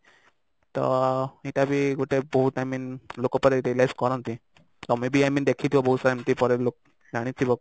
ତ ସେଇଟା ବି ଗୋଟେ ବହୁତ i mean ଲୋକ ପରେ realise କରନ୍ତି ତମେ ବି ଏମିତି ଦେଖିଥିବ ବହୁତ ସାରା ଏମିତି ଜାଣିଥିବ